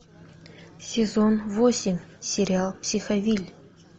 сезон восемь сериал психовилль